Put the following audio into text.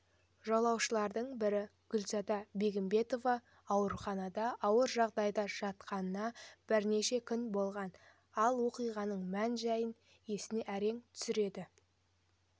жолаушылардың бірі гүлзада бегімбетова ауруханада ауыр жағдайда жатқанынабірнеше күн болған ал оқиғаның мән-жайын есіне әрең түсіреді